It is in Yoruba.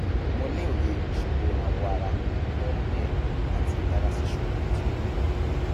mo ní òye ìṣòro awọ ara tó ń gbẹ àti ara ṣíṣú tí o ní